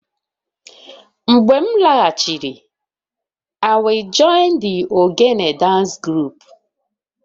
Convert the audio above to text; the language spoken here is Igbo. Mgbe m laghachiri, I will join the egegne dance group